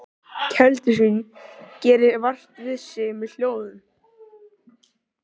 Keldusvín gerir vart við sig með hljóðum.